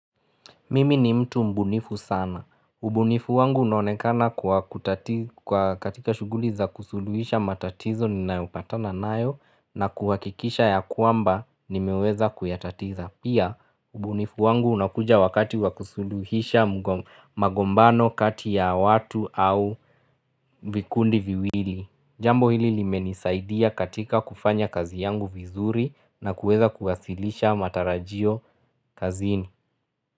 Mimi ni mtu mbunifu sana. Ubunifu wangu unonekana kwa katika shughuli za kusuluhisha matatizo ni nayopata na nayo na kuhakikisha ya kwamba ni meweza kuyatatiza. Pia, ubunifu wangu unakuja wakati wa kusuluhisha magombano kati ya watu au vikundi viwili. Jambo hili limenisaidia katika kufanya kazi yangu vizuri na kuweza kuwasilisha matarajio kazini.